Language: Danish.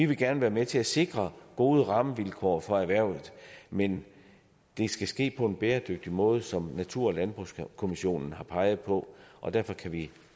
vil gerne være med til at sikre gode rammevilkår for erhvervet men det skal ske på en bæredygtig måde som natur og landbrugskommissionen har peget på og derfor kan vi